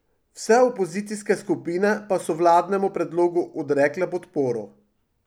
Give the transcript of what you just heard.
Vse opozicijske skupine pa so vladnemu predlogu odrekle podporo.